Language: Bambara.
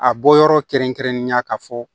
A bɔ yɔrɔ kɛrɛnkɛrɛnnenya ka fɔ